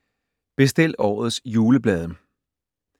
Bestil årets juleblade